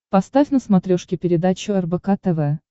поставь на смотрешке передачу рбк тв